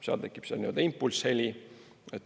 Seal tekib nii-öelda impulssheli.